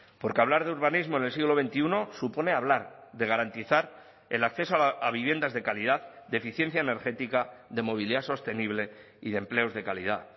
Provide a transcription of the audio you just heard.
porque hablar de urbanismo en el siglo veintiuno supone hablar de garantizar el acceso a viviendas de calidad de eficiencia energética de movilidad sostenible y de empleos de calidad